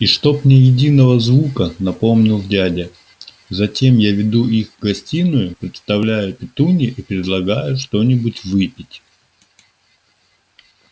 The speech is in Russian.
и чтоб ни единого звука напомнил дядя затем я веду их в гостиную представляю петунье и предлагаю что-нибудь выпить